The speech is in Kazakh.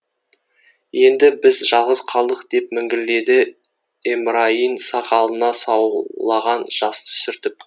енді біз жалғыз қалдық деп міңгірледі эмрайин сақалына саулаған жасты сүртіп